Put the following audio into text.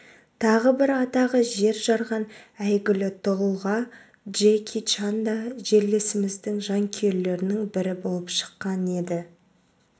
тағы бір атағы жер жарған әйгілі тұлға джеки чан да жерлесіміздің жанкүйерлерінің бірі болып шыққан еді